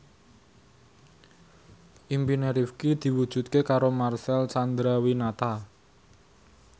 impine Rifqi diwujudke karo Marcel Chandrawinata